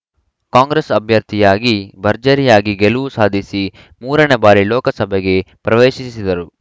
ಕಾಂಗ್ರೆಸ್‌ ಅಭ್ಯರ್ಥಿಯಾಗಿ ಭರ್ಜರಿಯಾಗಿ ಗೆಲುವು ಸಾಧಿಸಿ ಮೂರನೇ ಬಾರಿ ಲೋಕಸಭೆಗೆ ಪ್ರವೇಶಿಸಿದರು